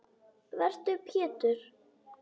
Vertu Pétur.